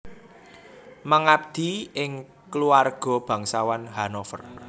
Mengabdi ing Kuluarga Bangsawan Hannover